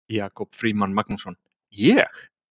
Jakob Frímann Magnússon: Ég?